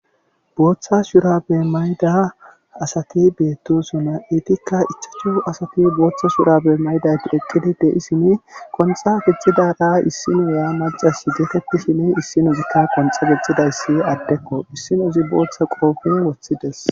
Bootha shuraabe mayida asati beettoosona eetikka ichachu asati bootha shuraabe mayidayti eqqidi de7ishini qonxxa gixxidaara issiniya maccasi getetishini issinozikka qonxxa gixxidayssi adekko issinozi bootha qope wothides.